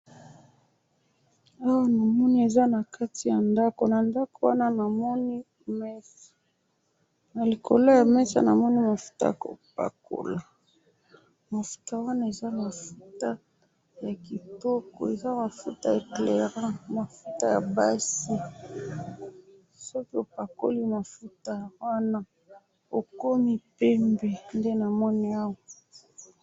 Awa namoni eza na kati ya ndako ,na ndako wana namoni mesa ,na likolo ya mesa namoni mafuta ya ko pakola, mafuta wana eza mafuta ya kitoko ,eza mafuta ya eclairant ,mafuta ya basi .soki opakoli mafuta wana okomi pembe, nde namoni awa